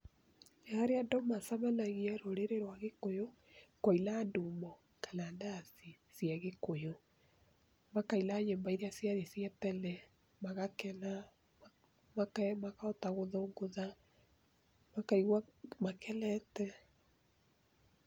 Nĩ harĩa andũ macemanagia rũrĩrĩ rwa gĩkũyũ, kũina ndumũ kana ndaci cia gĩkũyũ. Makaina nyĩmbo iria ciarĩ cia tene, magakena, makahota kũthũngũtha, makaigwa makenete.